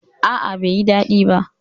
A'a, bai yi daɗi ba.